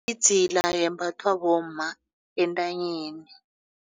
Idzila yembathwa bomma entanyeni.